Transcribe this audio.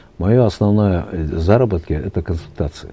ы заработки это консультации